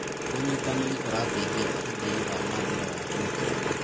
ũnyitanĩri ũrateithia ũthii wa na mbere wa kĩũtonga.